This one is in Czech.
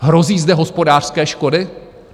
Hrozí zde hospodářské škody?